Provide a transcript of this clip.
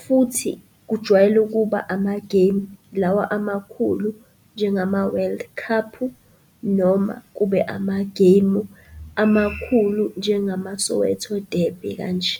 Futhi kujwayele ukuba amagemu, lawa amakhulu njengama-World Cup-u noma kube amagemu amakhulu njengama-Soweto Derby kanje.